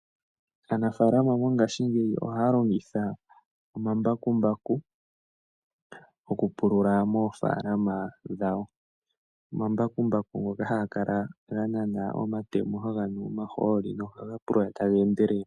Aanafalama mongashingeyi ohaya longitha omambakumbaku okupulula moofaalama dhawo. Omambakumbaku ngoka haga kala ga nana omatemo nohaga nu omahooli nohaga pulula taga endelele.